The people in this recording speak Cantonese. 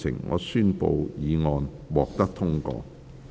我宣布議案獲得通過。